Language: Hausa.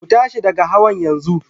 Ku tashi daga hawan yanzu!